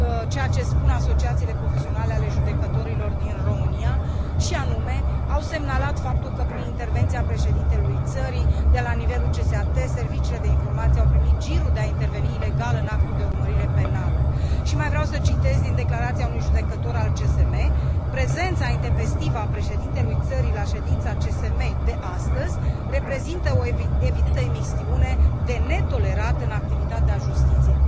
ceea ce spun asociațiile profesionale ale judecătorilor din România și anume au semnalat faptul că prin intervenția președintelui țării de la nivelul CSAT serviciile de informații au primit girul de a interveni ilegal în actul de urmărire penală și mai vreau să citez din declarația unui judecător al CSM prezența intempestivă a președintelui țării la ședința CSM de astăzi reprezintă o evidentă imixtiune de netolerat în activitatea justiției.